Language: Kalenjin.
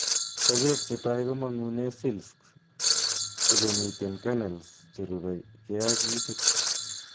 Sokeek chetai komongunen silks ko chemiten kernels cherubeke ak itit